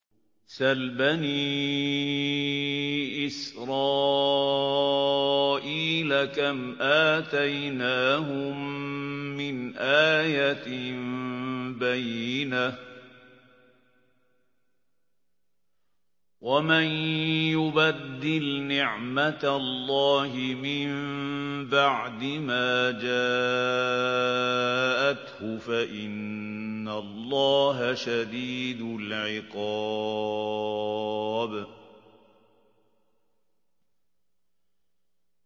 سَلْ بَنِي إِسْرَائِيلَ كَمْ آتَيْنَاهُم مِّنْ آيَةٍ بَيِّنَةٍ ۗ وَمَن يُبَدِّلْ نِعْمَةَ اللَّهِ مِن بَعْدِ مَا جَاءَتْهُ فَإِنَّ اللَّهَ شَدِيدُ الْعِقَابِ